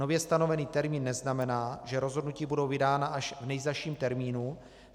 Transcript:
Nově stanovený termín neznamená, že rozhodnutí budou vydána až v nejzazším termínu.